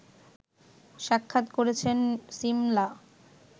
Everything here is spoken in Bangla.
সাক্ষাৎ করেছেন সিমলা